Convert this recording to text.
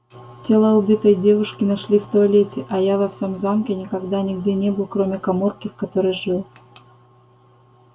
тело убитой девушки нашли в туалете а я во всем замке никогда нигде не был кроме каморки в которой жил